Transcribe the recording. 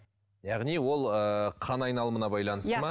яғни ол ыыы қан айналымына байланысты ма